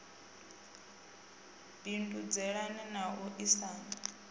bindudzelana na u a isana